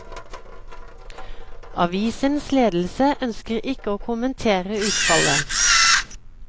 Avisens ledelse ønsker ikke å kommentere utfallet.